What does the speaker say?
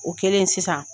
O kɛlen sisan